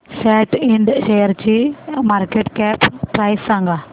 सॅट इंड शेअरची market cap price सांगा